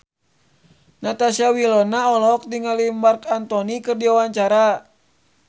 Natasha Wilona olohok ningali Marc Anthony keur diwawancara